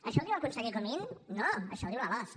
això ho diu el conseller comín no això ho diu la losc